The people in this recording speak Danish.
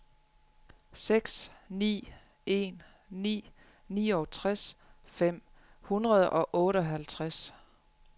seks ni en ni niogtres fem hundrede og otteoghalvtreds